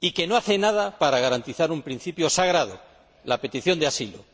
y que no hacía nada para garantizar un principio sagrado la petición de asilo.